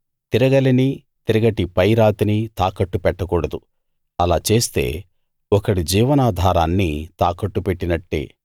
తిరగలిని తిరగటి పైరాతిని తాకట్టు పెట్టకూడదు అలా చేస్తే ఒకడి జీవనాధారాన్ని తాకట్టు పెట్టినట్టే